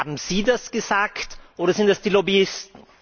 Haben Sie das gesagt, oder sind das die Lobbyisten?